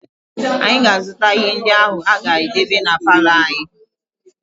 Anyị na-azụta ihe ndị anyị ga-edebe na palọ anyị